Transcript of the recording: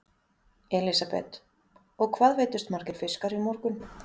Elísabet: Og hvað veiddust margir fiskar í morgun?